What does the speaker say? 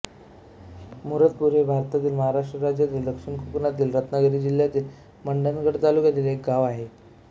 मुरदपूर हे भारतातील महाराष्ट्र राज्यातील दक्षिण कोकणातील रत्नागिरी जिल्ह्यातील मंडणगड तालुक्यातील एक गाव आहे